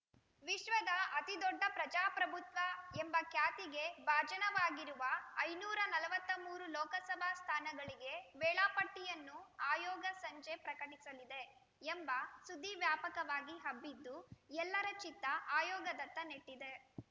ವಿಶ್ವದ ಅತಿ ದೊಡ್ಡ ಪ್ರಜಾಪ್ರಭುತ್ವ ಎಂಬ ಖ್ಯಾತಿಗೆ ಭಾಜನವಾಗಿರುವ ಐನೂರ ನಲವತ್ತ್ ಮೂರು ಲೋಕಸಭಾ ಸ್ಥಾನಗಳಿಗೆ ವೇಳಾಪಟ್ಟಿಯನ್ನು ಆಯೋಗ ಸಂಜೆ ಪ್ರಕಟಿಸಲಿದೆ ಎಂಬ ಸುದ್ದಿ ವ್ಯಾಪಕವಾಗಿ ಹಬ್ಬಿದ್ದು ಎಲ್ಲರ ಚಿತ್ತ ಆಯೋಗದತ್ತ ನೆಟ್ಟಿದೆ